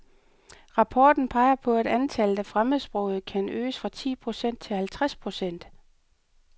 Papporten peger på, at antallet af fremmedsprogede kan øges fra ti procent til halvtreds procent.